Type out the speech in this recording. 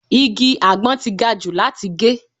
Igi àgbon ti gajù láti gé.